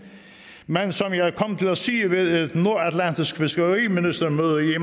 men som jeg kom til at sige ved et nordatlantisk fiskeriministermøde i